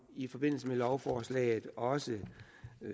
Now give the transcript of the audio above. i forbindelse med lovforslaget også